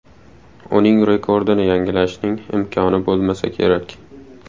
Uning rekordini yangilashning imkoni bo‘lmasa kerak.